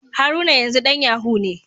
Haruna yanzu dan Yahoo ne.